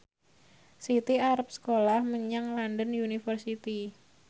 Siti arep sekolah menyang London University